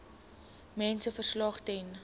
mediese verslag ten